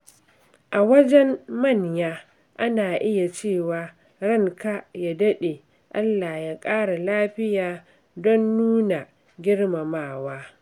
A wajen manya, ana iya cewa "Ranka ya dade, Allah ya kara lafiya." don nuna girmamawa.